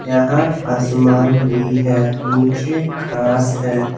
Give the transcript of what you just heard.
यहां आसमान भी है नीचे घास है।